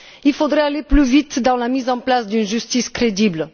Il faudrait aller plus vite dans la mise en place d'une justice crédible.